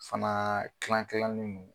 Fana kilan kilanen do.